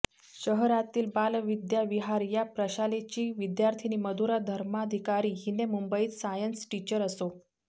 शहरातील बालविद्याविहार या प्रशालेची विद्यार्थीनी मधुरा धर्माधिकारी हीने मुंबईत सायन्स टिचर असो